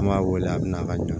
An b'a wele a bɛ na ka ɲɔn